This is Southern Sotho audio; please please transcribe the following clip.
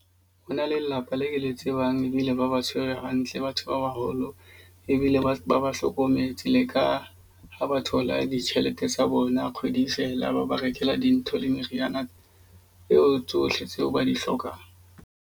Ho na le lelapa le ke le tsebang ebile ba ba tshwere hantle batho ba baholo. Ebile ba ba ba hlokometse le ka ha ba thola ditjhelete tsa bona kgwedi e fela. Ba ba rekela dintho le meriana eo tsohle tseo ba di hlokang.